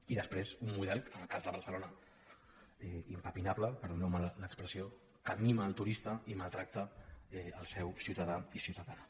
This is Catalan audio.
i després un model en el cas de barcelona impepinable perdoneu me l’expressió que mima el turista i maltracta el seu ciutadà i ciutadana